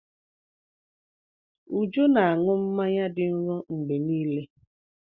Uju ná-aṅụ mmanya dị nro mgbe niile.